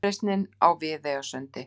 Uppreisnin á Viðeyjarsundi.